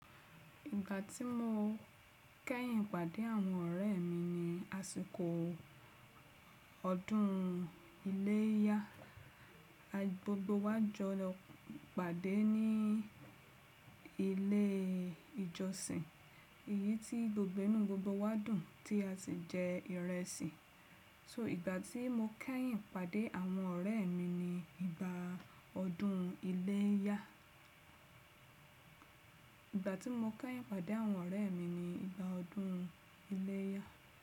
Ìgbà tí mo kẹ́yìn pàdé àwọn ọ̀rẹ́ mi ni àsìkò ọdún iléyá, gbogbo wa jọ pàdé ní ilé ìjọsìn, èyí tí gbogbo inù gbogbo wa dùn tí a sì jẹ ìrẹsì. So ìgbà tí mo kẹ́yìn pàdé àwọn ọ̀rẹ́ mi ni ìgbà ọdún iléyá. Ìgbà tí mo kẹ́yìn pàdé àwọn ọ̀rẹ́ mi ni ìgbà ọdún iléyá.